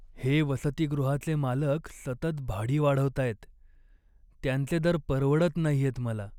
हे वसतिगृहाचे मालक सतत भाडी वाढवतायत, त्यांचे दर परवडत नाहीयेत मला.